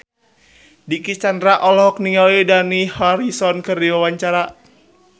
Dicky Chandra olohok ningali Dani Harrison keur diwawancara